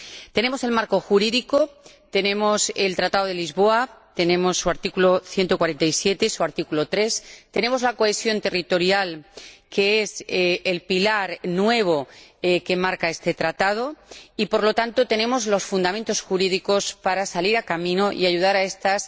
Tenemos el marco jurídico, tenemos el Tratado de Lisboa ―su artículo 174, tercer párrafo―, tenemos la cohesión territorial, que es el pilar nuevo que marca este Tratado, y, por lo tanto, tenemos los fundamentos jurídicos para salir al camino y ayudar a estas